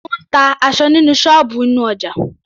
Ó ń ta aṣọ ní ṣọ́ọ̀bù inú ọjà.